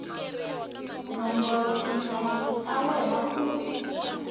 nombora tinhlamulo ta wena ku